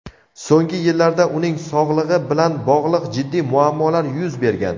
So‘nggi yillarda uning sog‘lig‘i bilan bog‘liq jiddiy muammolar yuz bergan.